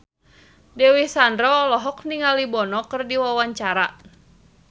Dewi Sandra olohok ningali Bono keur diwawancara